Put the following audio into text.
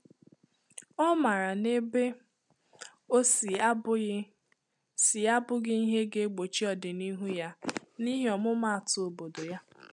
Ọ maara na ebe o si abụghị si abụghị ihe ga-egbochi ọdịnihu ya, n’ihi ọmụma atụ obodo ya